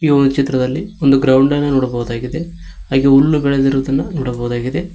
ತು ಈ ಚಿತ್ರದಲ್ಲಿ ಒಂದು ಗ್ರೌಂಡ್ ಅನ್ನ ನೋಡಬಹುದಾಗಿದೆ ಹಾಗೆ ಹುಲ್ಲು ಬೇಳೆದಿರುವದನ್ನ ನೋಡಬಹುದಾಗಿದೆ.